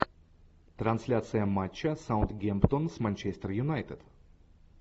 трансляция матча саутгемптон с манчестер юнайтед